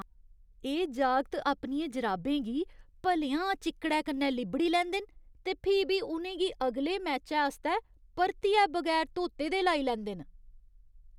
एह् जागत अपनियें जराबें गी भलेआं चिक्कड़ै कन्नै लिब्बड़ी लैंदे न ते फ्ही बी उ'नें गी अगले मैचै आस्तै परतियै बगैर धोते दे लाई लैंदे न।